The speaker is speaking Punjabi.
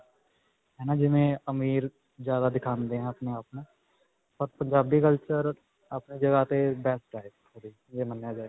ਹੈ ਨਾ, ਜਿਵੇਂ ਅਮੀਰ ਜਿਆਦਾ ਦਿਖਾਉਂਦੇ ਹੈ ਆਪਣੇ-ਆਪਨੂੰ, ਪਰ ਪੰਜਾਬੀ culture ਆਪਣੀ ਜਗ੍ਹਾ 'ਤੇ best ਹੈ. ਇਹ ਮੰਨਿਆ ਗਿਆ ਹੈ.